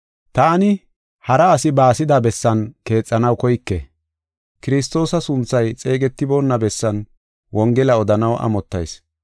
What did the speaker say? Taani hara asi baasida bessan keexanaw koyke. Kiristoosa sunthay xeegetiboona bessan Wongela odanaw amottayis.